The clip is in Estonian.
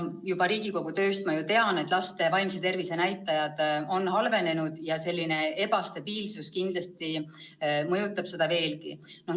Juba Riigikogu tööst ma tean, et laste vaimse tervise näitajad on halvenenud ja selline ebastabiilsus kindlasti mõjutab seda veelgi.